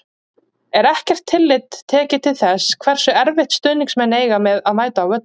Er ekkert tillit tekið til þess hversu erfitt stuðningsmenn eiga með að mæta á völlinn?